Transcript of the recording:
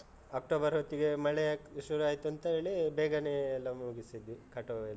October ಹೊತ್ತಿಗೆ ಮಳೆ ಶುರು ಆಯ್ತು ಅಂತ ಹೇಳಿ, ಬೇಗನೇ ಎಲ್ಲ ಮುಗಿಸಿದ್ವಿ, ಕಟಾವ್ ಎಲ್ಲ.